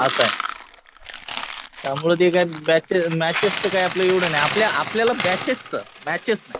असं आहे. त्यामुळे ते काय मॅचेसचं काय एवढं नाही .आपल्याला बॅचेसचं, मॅचेस नाही.